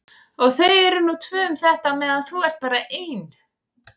Og þau eru nú tvö um þetta á meðan þú ert bara ein.